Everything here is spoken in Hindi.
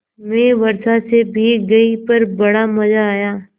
मैं वर्षा से भीग गई पर बड़ा मज़ा आया